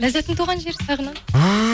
ләззаттың туған жері сағынады